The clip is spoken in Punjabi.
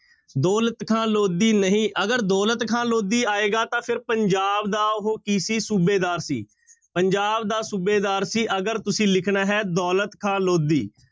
ਦੌਲਤ ਖ਼ਾਨ ਲੋਧੀ ਨਹੀਂ, ਅਗਰ ਦੌਲਤ ਖ਼ਾਂ ਲੋਧੀ ਆਏਗਾ ਤਾਂ ਫਿਰ ਪੰਜਾਬ ਦਾ ਉਹ ਕੀ ਸੀ ਸੂਬੇਦਾਰ ਸੀ, ਪੰਜਾਬ ਦਾ ਸੂਬੇਦਾਰ ਸੀ, ਅਗਰ ਤੁਸੀਂ ਲਿਖਣਾ ਹੈ ਦੌਲਤ ਖ਼ਾਂ ਲੋਧੀ।